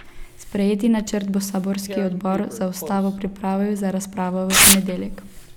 Sprejeti načrt bo saborski odbor za ustavo pripravil za razpravo v ponedeljek.